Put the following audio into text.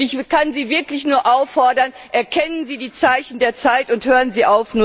Ich kann Sie wirklich nur auffordern Erkennen Sie die Zeichen der Zeit und hören Sie